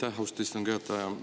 Aitäh, austatud istungi juhataja!